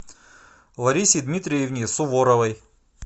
ларисе дмитриевне суворовой